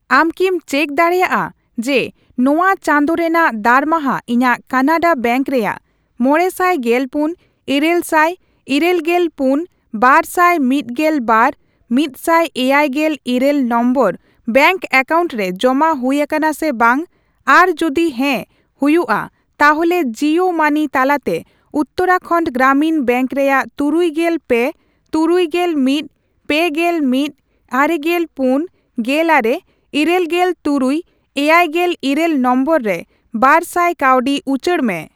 ᱟᱢ ᱠᱤᱢ ᱪᱮᱠ ᱫᱟᱲᱮᱭᱟᱜᱼᱟ ᱡᱮ ᱱᱚᱣᱟ ᱪᱟᱸᱫᱳ ᱨᱮᱱᱟᱜ ᱫᱟᱨᱢᱟᱦᱟ ᱤᱧᱟᱜ ᱠᱟᱱᱟᱰᱟ ᱵᱮᱝᱠ ᱨᱮᱭᱟᱜ ᱢᱚᱲᱮᱥᱟᱭ ᱜᱮᱞᱯᱩᱱ, ᱤᱨᱟᱹᱞᱥᱟᱭ ᱤᱨᱟᱹᱞᱜᱮᱞ ᱯᱩᱱ, ᱵᱟᱨᱥᱟᱭ ᱢᱤᱫᱜᱮᱞ ᱵᱟᱨ, ᱢᱤᱫᱥᱟᱭ ᱮᱭᱟᱭᱜᱮᱞ ᱤᱨᱟᱹᱞ ᱱᱚᱢᱵᱚᱨ ᱵᱮᱝᱠ ᱮᱠᱟᱣᱩᱱᱴ ᱨᱮ ᱡᱚᱢᱟ ᱦᱩᱭ ᱟᱠᱟᱱᱟ ᱥᱮ ᱵᱟᱝ, ᱟᱨ ᱡᱩᱫᱤ ᱦᱮᱸ ᱦᱩᱭᱩᱜᱼᱟ ᱛᱟᱦᱚᱞᱮ ᱡᱤᱭᱳ ᱢᱟᱹᱱᱤ ᱛᱟᱞᱟᱛᱮ ᱩᱛᱛᱟᱨᱟᱠᱷᱟᱱᱰ ᱜᱨᱟᱢᱤᱱ ᱵᱮᱝᱠ ᱨᱮᱭᱟᱜ ᱛᱩᱨᱩᱭᱜᱮᱞ ᱯᱮ, ᱛᱩᱨᱩᱭᱜᱮᱞ ᱢᱤᱫ, ᱯᱮᱜᱮᱞ ᱢᱤᱫ, ᱟᱨᱮᱜᱮᱞ ᱯᱩᱱ, ᱜᱮᱞᱟᱨᱮ, ᱤᱨᱟᱹᱞᱜᱮᱞ ᱛᱩᱨᱩᱭ, ᱮᱭᱟᱭᱜᱮᱞ ᱤᱨᱟᱹᱞ ᱱᱚᱢᱵᱚᱨ ᱨᱮ ᱵᱟᱨᱥᱟᱭ ᱠᱟᱹᱣᱰᱤ ᱩᱪᱟᱹᱲ ᱢᱮ ?